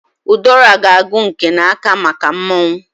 Udora g'agu nke na-aka maka mmọnwụ.